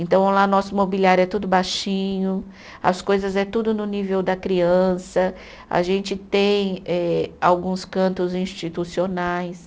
Então, lá nosso mobiliário é tudo baixinho, as coisas é tudo no nível da criança, a gente tem eh alguns cantos institucionais.